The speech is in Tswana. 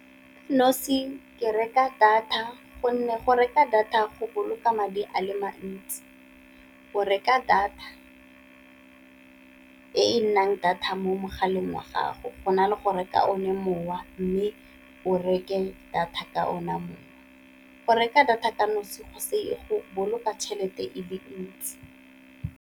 ke reka data gonne go reka data go boloka madi a le mantsi, go reka data e nnang data mo mogala a le mo gago go na le go reka one mowa, mme o reke data ka ona mowa. Go reka data ka nosi go boloka tšhelete e le ntsi.